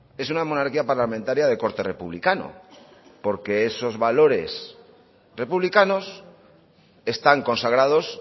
es una monarquía parlamentaria de corte republicano porque esos valores republicanos están consagrados